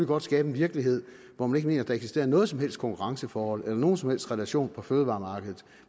godt skabe en virkelighed hvor man ikke mener der eksisterer noget som helst konkurrenceforhold eller nogen som helst relation på fødevaremarkedet